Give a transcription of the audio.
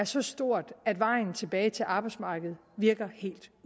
så stort at vejen tilbage til arbejdsmarkedet